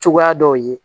Cogoya dɔw ye